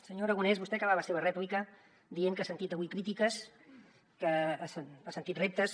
senyor aragonès vostè ha acabat la seva rèplica dient que ha sentit avui crítiques que ha sentit reptes